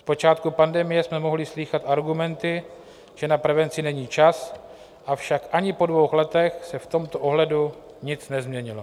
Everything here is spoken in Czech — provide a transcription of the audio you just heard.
V počátku pandemie jsme mohli slýchat argumenty, že na prevenci není čas, avšak ani po dvou letech se v tomto ohledu nic nezměnilo.